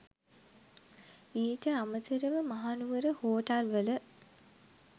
ඊට අමතරව මහනුවර හෝටල්වල